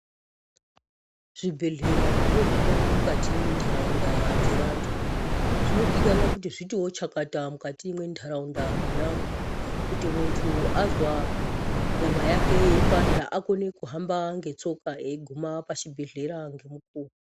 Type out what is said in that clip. Zvibhehlera zvinodi kanwa mukati mendaraunda dze vantu zvinodikanwa kuti zvitiwo chakata mukati munharaunda monamo ,kuti munthu azwa nyama yake yeipanda akone kuhamba ngetsoka achiguma pachibhelera ngemukuwo. .